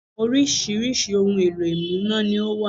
Oríṣiríṣi ohun èlò ìmúná ni ó wà